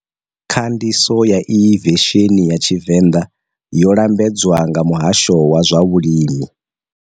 Khandiso ya iyi vesheni ya Tshivenda yo lambedzwa nga Muhasho wa zwa Vhulimi.